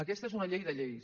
aquesta és una llei de lleis